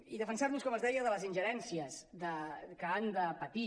i defensar·los com els deia de les ingerèn·cies que han de patir